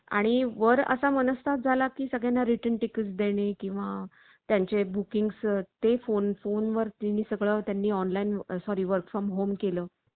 आणि वर असा मनस्ताप झाला की सगळ्यांना ticket return देणे किंवा त्यांचे booking ते फोन फोन वर तुम्ही सगळ्यांनी online sorry work from home केलं.